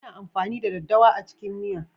Ana amfani da daddawa a cikin miya.